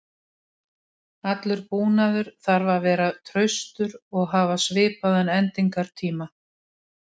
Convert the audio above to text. Allur búnaður þarf að vera traustur og hafa svipaðan endingartíma.